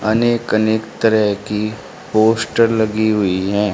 अनेक अनेक तरह की पोस्टर लगी हुई हैं।